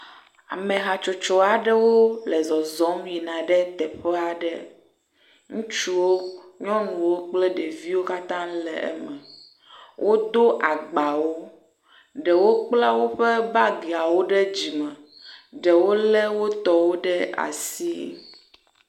Amehatsotsoaɖewo le zɔzɔm yina ɖe teƒeaɖe ŋutsuwo nyɔnuwo kple ɖeviwo katã le eme wódo agbawo ɖewo kpla wóƒe bagiawo ɖe dzime ɖewo le wótɔwo ɖe asi